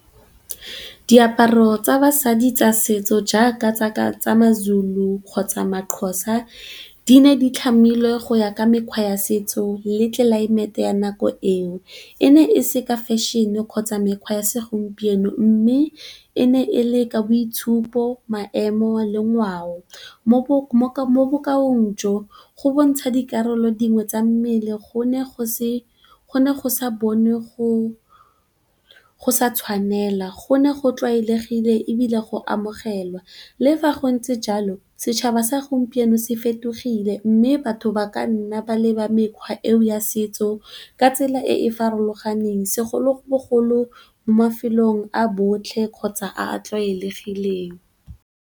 Diaparo tsa basadi tsa setso jaaka tsa ma-Zulu kgotsa ma-Xhosa. Di ne di tlhamilweng go ya ka mekgwa ya setso le tlelaemete ya nako eo. E ne e seka fashion-e kgotsa mekgwa ya segompieno, mme e ne e le ka boitshupo, maemo le ngwao. Mo bokaong jo go bontsha dikarolo dingwe tsa mmele gone go sa bone go sa tshwanela, go ne go tlwaelegile ebile go amogelwa. Le fa go ntse jalo, setšhaba sa gompieno se fetogile mme batho ba ka nna ba leba mekgwa eno ya setso ka tsela e e farologaneng. Segolobogolo mo mafelong a botlhe kgotsa a a tlwaelegileng.